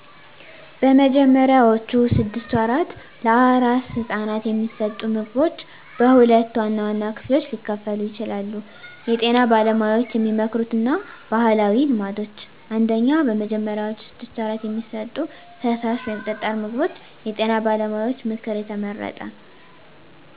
በመጀመሪያዎቹ ስድስት ወራት ለአራስ ሕፃናት የሚሰጡ ምግቦች በሁለት ዋና ዋና ክፍሎች ሊከፈሉ ይችላሉ የጤና ባለሙያዎች የሚመክሩት እና ባህላዊ ልማዶች። 1. በመጀመሪያዎቹ 6 ወራት የሚሰጡ ፈሳሽ/ጠጣር ምግቦች የጤና ባለሙያዎች ምክር (የተመረጠ):